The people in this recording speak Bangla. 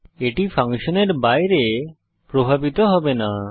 এটি ফাংশনের বাইরে প্রভাবিত হবে না